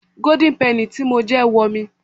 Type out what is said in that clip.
Golden penny tí mo jẹ wo mi.